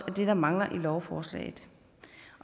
det der mangler i lovforslaget